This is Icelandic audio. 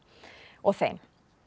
og þeim